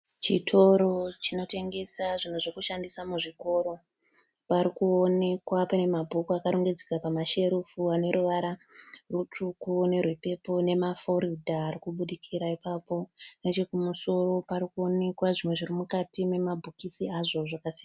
Chitoro chinotengesa zvinhu zvekushanda muzvikoro, parikuonekwa pane mabook akorongedzeka pamasherufu aneruvara rutsvuku nerwepepo neforodha arikubudikira ipapo. Nechekumusoro parikuonekwa zvimwe zvirimukati memabhokisi azvo.